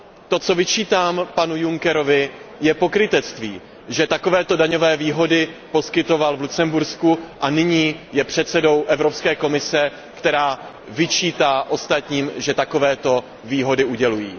To, co vyčítám panu Junckerovi, je pokrytectví, že takovéto daňové výhody poskytoval v Lucembursku a nyní je předsedou Evropské komise, která vyčítá ostatním, že takovéto výhody udělují.